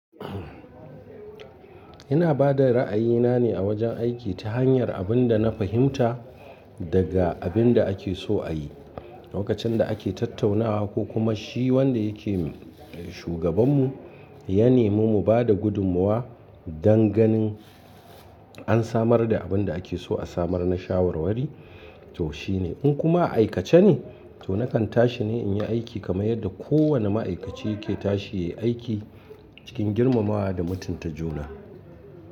Ina bada ra'ayina ne a wajen aiki ta hanyar abin da na fahimta daga abin da ake so ayi. Lokacin da ake tattaunawa ko kuma shi wanda yake shugaban mu ya nemi mu bada gudunmuwa don ganin an samar da abin da ake so a samar na shawarwari to shine. In kuma a aikace ne to nakan tashi ne in yi aiki kamar yadda kowane ma'aikaci yake tashi ya yi aiki cikin girmamawa da mutunta juna.